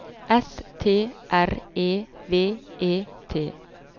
S T R E V E T